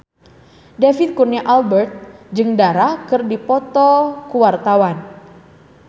David Kurnia Albert jeung Dara keur dipoto ku wartawan